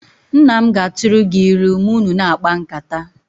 Nna m ga-atụrụ gị ilu ma unu na-akpa nkata